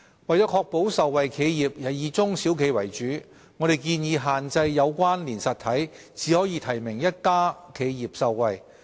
為確保受惠企業以中小企為主，我們建議限制"有關連實體"只可提名一家企業受惠。